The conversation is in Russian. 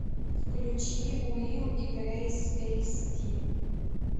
включи уилл и грейс эйс ди